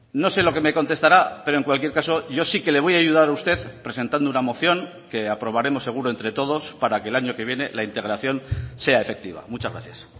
no sé lo que me contestará pero en cualquier caso yo sí que le voy a ayudar a usted presentando una moción que aprobaremos seguro entre todos para que el año que viene la integración sea efectiva muchas gracias